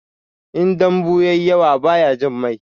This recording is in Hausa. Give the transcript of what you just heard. In dambu ya yi yawa bai jin mai.